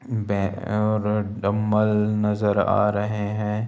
Bag और dumbbell नजर आ रहें हैं।